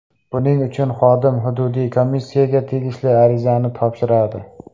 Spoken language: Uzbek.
Buning uchun xodim hududiy komissiyaga tegishli arizani topshiradi.